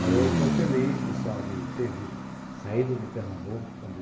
Mas eu estou feliz de ter saído de Pernambuco com de